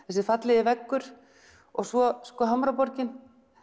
þessi fallegi veggur og svo Hamraborginni